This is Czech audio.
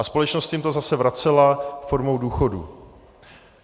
A společnost jim to zase vracela formou důchodů.